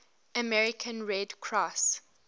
american red cross